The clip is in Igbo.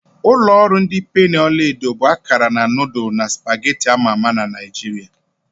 Ulo oru ndi penni ọla edo bụ akara nudulu na supagetti ama ama na Naijiria.